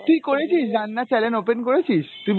তুই করেছিস? রান্নার channel open করেছিস? তুই